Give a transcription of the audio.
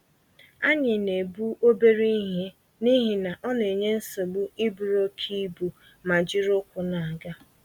Anyị na-ebu obere ihe n'ihi na onenye nsogbu iburu oké ibu, ma ijiri ụkwụ n'aga